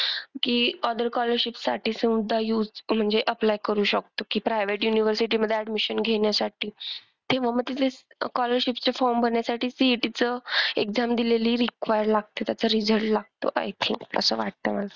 की other colleges साठी सुद्धा use म्हणजे apply करू शकतो की private university मधे admission घेण्यासाठी. तेव्हा मग ती scholarship चे form भरण्यासाठी CET चं exam दिलेली required लागते. त्याचा result लागतो I think. असं वाटतंय मला.